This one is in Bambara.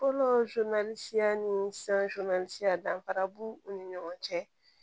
Fɔlɔ siya ni danfara b'u ni ɲɔgɔn cɛ